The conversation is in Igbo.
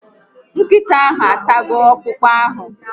Nkịta ahụ atago okpụkpụ ahụ